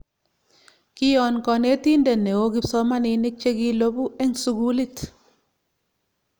kion konetinte neoo kipsomninik chekilopu en sukulit